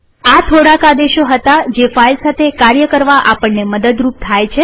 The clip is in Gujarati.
આ થોડાક આદેશો હતા જે ફાઈલ સાથે કાર્ય કરવા આપણને મદદરૂપ થાય છે